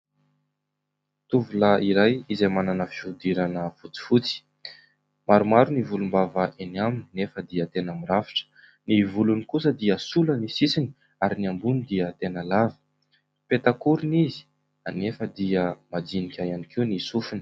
Tovolahy iray izay manana fihodirana fotsifotsy, maromaro ny volombava eny aminy nefa dia tena mirafitra, ny volony kosa dia sola ny sisiny ary ny ambony dia tena lava petakorona izy anefa dia majinika ihany koa ny sofiny.